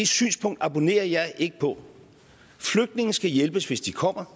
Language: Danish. synspunkt abonnerer jeg ikke på flygtninge skal hjælpes hvis de kommer